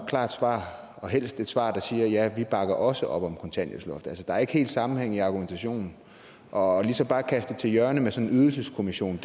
klart svar og helst et svar der siger ja vi bakker også op om kontanthjælpsloftet altså der er ikke helt sammenhæng i argumentationen og ligesom bare at kaste det til hjørne med sådan en ydelseskommission